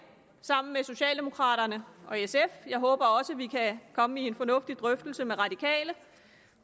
sammen med socialdemokraterne og sf jeg håber også at vi kan komme i en fornuftig drøftelse med de radikale